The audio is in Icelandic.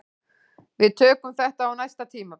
Við tökum þetta á næsta tímabili